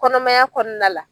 Kɔnɔmaya kɔnɔna la